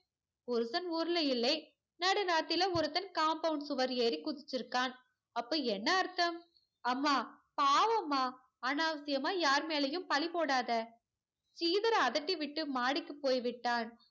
புருஷன் ஊர்ல இல்லை. நடுராத்திரில ஒருத்தன் compound சுவர் ஏறி குதிச்சுருக்கான். அப்போ என்ன அர்த்தம் அம்மா, பாவம்மா. அனாவசியமா யார் மேலையும் பழி போடாதே. ஸ்ரீதர் அதட்டி விட்டு மாடிக்கு போய் விட்டான்.